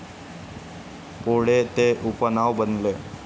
पुढे, ते उपनाव बनले.